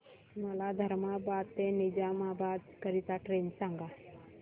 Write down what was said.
मला धर्माबाद ते निजामाबाद करीता ट्रेन सांगा